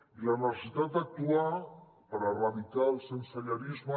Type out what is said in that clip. i la necessitat d’actuar per erradicar el sensellarisme